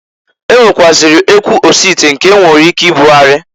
E nwekwụazịrị ekwu osite, nke e nwere ike ibugharị.